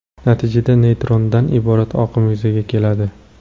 Natijada, neytrinodan iborat oqim yuzaga keladi.